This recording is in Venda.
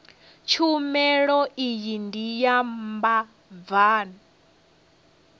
tshumelo iyi ndi ya vhabvann